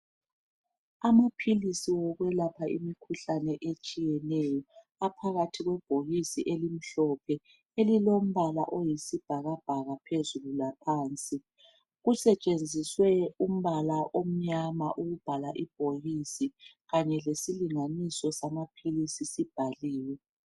Amaphilisi okwelapha imikhuhlane etshiyeneyo, aphakathi kwebhokisi elimhlophe elilombala oyisibhakabhaka phezulu laphansi. Kusetshenziswe umbala omnyama ukubhala ibhokisi kanye lesilinganiso samaphilisi sibhaliwe.